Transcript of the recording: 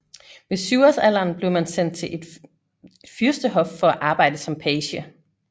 Ved syvårs alderen blev man sendt til et fyrstehof for at arbejde som page